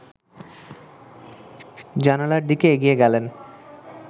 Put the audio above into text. জানালার দিকে এগিয়ে গেলেন